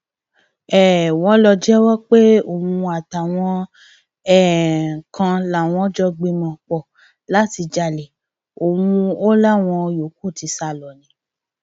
um wọn lọ jẹwọ pé òun àtàwọn um kan làwọn jọ gbìmọpọ láti jalè ọhún o láwọn yòókù ti sá lọ ni